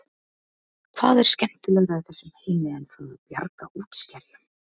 Hvað er skemmtilegra í þessum heimi en það að bjarga útskerjum?